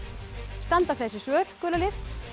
standa þessi svör gula lið